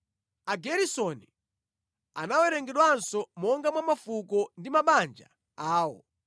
Ageresoni anawerengedwanso monga mwa mafuko ndi mabanja awo.